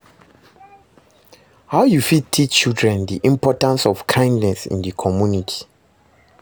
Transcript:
how you fit teach children di importance of kindness in di community?